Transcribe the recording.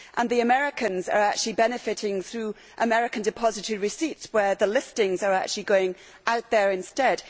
The Americans are actually benefiting through American depository receipts, where the listings are actually going out there instead.